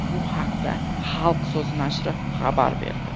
Bu haqda "Xalq so‘zi" nashri xabar berdi.